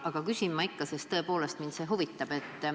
Aga küsin ma ikka, sest mind see huvitab.